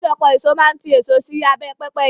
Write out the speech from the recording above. Àkójọpọ̀ ìṣó máa ń tì ìṣó sí abẹ́ pẹpẹ igi.